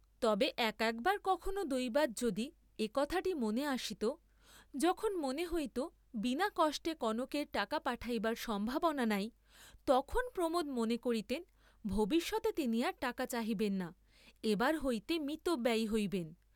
তবে এক একবার কখনও দৈবাৎ যদি এ কথাটি মনে আসিত, যখন মনে হইত বিনা কষ্টে কনকের টাকা পাঠাইবার সম্ভাবনা নাই, তখন প্রমোদ মনে করিতেন ভবিষ্যতে তিনি আর টাকা চাহিবেন না, এবার হইতে মিতব্যয়ী হইবেন।